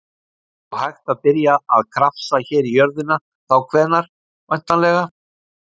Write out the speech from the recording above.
Og hægt að byrja að krafsa hér í jörðina þá hvenær, væntanlega?